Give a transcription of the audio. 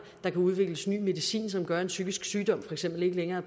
der kan udvikles ny medicin som gør at en psykisk sygdom for eksempel ikke længere